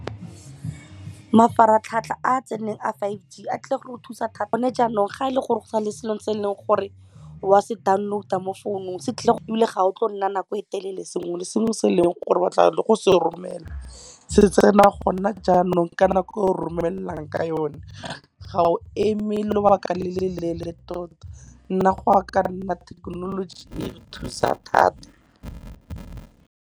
Mafaratlhatlha a tseneng a five G a tlile go thusa thata. Gone jaanong ga ele gore go na le selo se eleng gore wa se download-a mo founung, ga o tlo nna nako e telele sengwe le sengwe se eleng gore batla le go se romela, se tsena gona jaanong ka nako o romelang ka yone. Ga o eme lobaka le le leele tota. Nna go ya nna thekenoloji e re thusa thata.